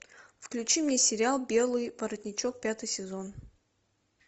включи мне сериал белый воротничок пятый сезон